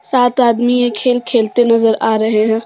सात आदमी ये खेल खेलते नजर आ रहे हैं।